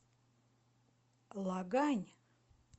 лагань